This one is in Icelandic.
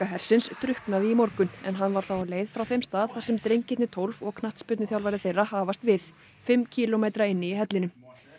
hersins drukknaði í morgun en hann var þá á leið frá þeim stað þar sem drengirnir tólf og knattspyrnuþjálfari þeirra hafast við fimm kílómetra inn í hellinum